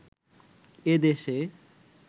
এ দেশে